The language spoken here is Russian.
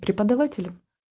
преподаватели